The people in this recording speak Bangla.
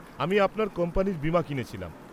-আমি আপনার কোম্পানির বীমা কিনেছিলাম।